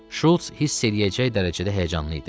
Şults hiss eləyəcək dərəcədə həyəcanlı idi.